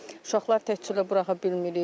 Uşaqları təkcə buraxa bilmirik.